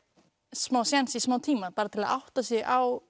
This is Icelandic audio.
smá séns í smá tíma til að átta sig á